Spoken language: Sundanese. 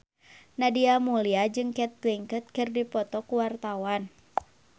Nadia Mulya jeung Cate Blanchett keur dipoto ku wartawan